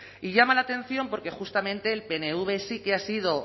y llama la atención porque justamente el pnv sí que ha sido